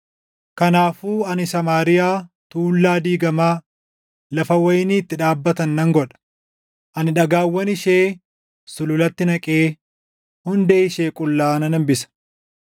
“Kanaafuu ani Samaariyaa tuullaa diigamaa, lafa wayinii itti dhaabbatan nan godha. Ani dhagaawwan ishee sululatti naqee, hundee ishee qullaa nan hambisa.